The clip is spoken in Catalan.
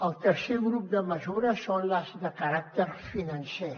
el tercer grup de mesures són les de caràcter financer